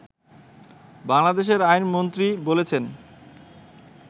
বাংলাদেশের আইন প্রতিমন্ত্রী বলেছেন